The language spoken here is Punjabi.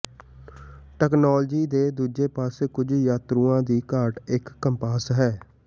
ਤਕਨਾਲੋਜੀ ਦੇ ਦੂਜੇ ਪਾਸੇ ਕੁਝ ਯਾਤਰੂਆਂ ਦੀ ਘਾਟ ਇਕ ਕੰਪਾਸ ਹੈ